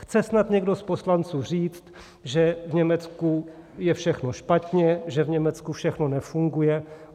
Chce snad někdo z poslanců říct, že v Německu je všechno špatně, že v Německu všechno nefunguje?